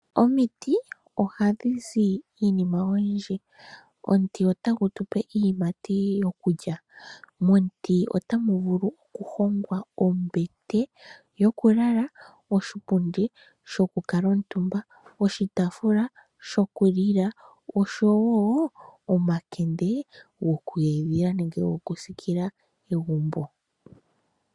Omiti ohadhi zi iinima oyindji, omuti ota gu tupe iiyimati yokulya momuti ota mu vulu oku hongwa ombete yoku lala, oshipundi shoku ka la omutumba, oshitaafula shokulila oshowo omakende goku edhila nenge goku siikila egumbo.